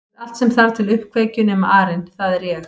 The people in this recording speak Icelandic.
Þú ert allt sem þarf til uppkveikju nema arinn það er ég